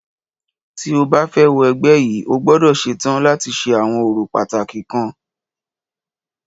Tí o bá fẹ́ wọ ẹgbẹ́ yìí,o gbọ́dọ̀ ṣetán láti ṣe àwọn orò pàtàkì kan.